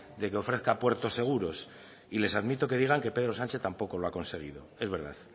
de que ofrezca puertos seguros y les admito que digan que pedro sánchez tampoco lo ha conseguido es verdad